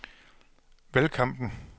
valgkampen